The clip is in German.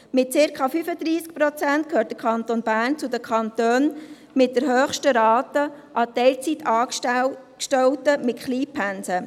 Mit circa 35 Prozent gehört der Kanton Bern zu den Kantonen mit der höchsten Rate an Teilzeitangestellten mit Kleinpensen.